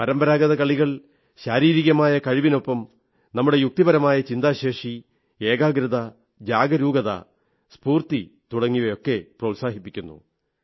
പരമ്പാരഗത കളികൾ ശാരീരികമായ കഴിവിനൊപ്പം നമ്മുടെ യുക്തിപരമായ ചിന്താശേഷി ഏകാഗ്രത ജാഗരൂകത സ്ഫൂർത്തി തുടങ്ങിയവയെയൊക്കെ പ്രോത്സാഹിപ്പിക്കുന്നു